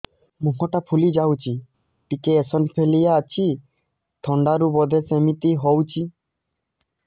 ମୁହଁ ଟା ଫୁଲି ଯାଉଛି ଟିକେ ଏଓସିନୋଫିଲିଆ ଅଛି ଥଣ୍ଡା ରୁ ବଧେ ସିମିତି ହଉଚି